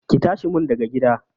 Ki tashi mun daga gida!